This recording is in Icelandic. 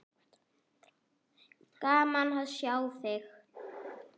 Gaman að sjá þig.